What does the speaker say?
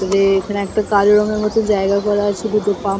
দূরে এখানে একটা কালো রঙের মতো জায়গা করা আছে দুটো পাম্প --